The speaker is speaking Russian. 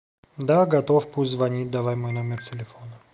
да готов пусть звонит давай мой номер телефона